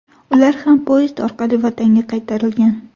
Ular ham poyezd orqali vatanga qaytarilgan .